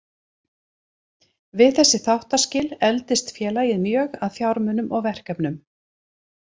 Við þessi þáttaskil efldist félagið mjög að fjármunum og verkefnum.